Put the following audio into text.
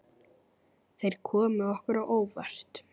Þeir komu okkur á óvart.